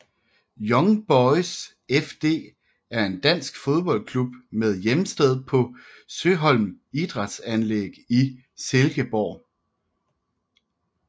Young Boys FD er en dansk fodboldklub med hjemsted på Søholt Idrætsanlæg i Silkeborg